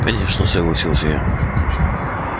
конечно согласился я